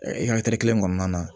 i ka kelen kɔnɔna na